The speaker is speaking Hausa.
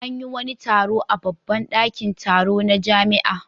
An yi wani taro a babban ɗakin taro na jami'a.